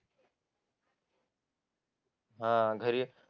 हा घरी